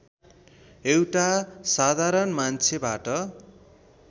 एउटा साधारण मान्छेबाट